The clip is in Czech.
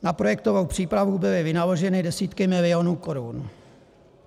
Na projektovou přípravu byly vynaloženy desítky milionů korun.